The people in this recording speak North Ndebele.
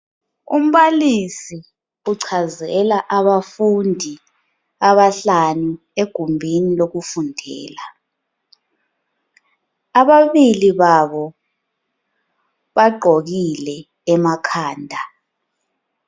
Umbalisi uchazela abafundi abahlanu egumbini lokufundela. Ababili babo bagqokile emakhanda.